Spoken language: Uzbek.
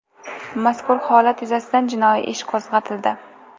Mazkur holat yuzasidan jinoiy ish qo‘zg‘atildi.